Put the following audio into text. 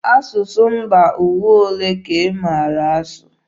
Asụsụ mba ụwa olee ka ị maara asụ?